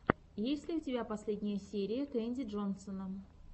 есть ли у тебя последняя серия кэнди джонсона